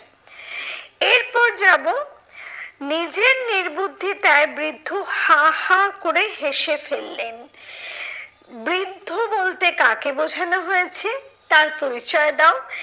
এরপর যাবো, নিজের নির্বুদ্ধিতায় বৃদ্ধ হা হা করে হেসে ফেললেন বৃদ্ধ বলতে কাকে বোঝানো হয়েছে? তার পরিচয় দাও?